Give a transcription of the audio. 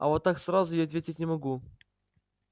а вот так сразу я ответить не могу